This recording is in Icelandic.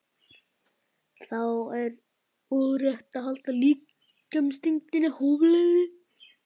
Þá er og rétt að halda líkamsþyngdinni hóflegri.